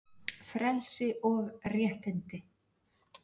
FRELSI OG RÉTTINDI